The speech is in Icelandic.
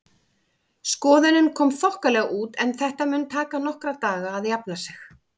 Skoðunin kom þokkalega út en þetta mun taka nokkra daga að jafna sig.